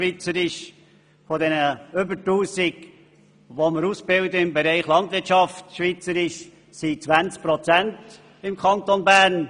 Von den über 1000 Personen, die wir in der Landwirtschaft ausbilden, stammen 20 Prozent aus dem Kanton Bern.